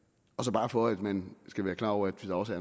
bare for at man skal være klar over at der også